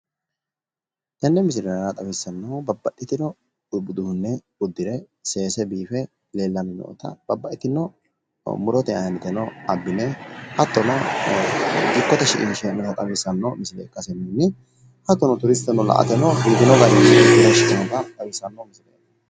Tini leellishanohu babbaxino gari dani uduune udirre biife seese sagalate danano albaani wodhe gobbate gobbadinni da"aattote dagano mannotirano biifinotta ikkase xawisanno